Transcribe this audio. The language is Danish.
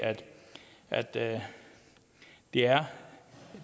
at der er